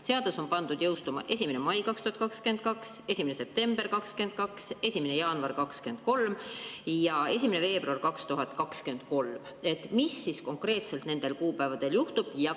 Seadus on pandud jõustuma 1. mail 2022, 1. septembril 2022, 1. jaanuaril 2023 ja 1. veebruaril 2023. Mis siis konkreetselt nendel kuupäevadel juhtub?